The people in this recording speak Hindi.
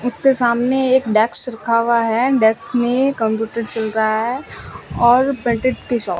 उसके सामने एक डेस्क रखा हुआ है डेस्क में कंप्यूटर चल रा है और की शॉप --